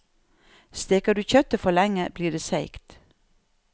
Steker du kjøttet for lenge, blir det seigt.